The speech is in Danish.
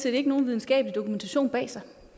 ikke nogen videnskabelig dokumentation bag sig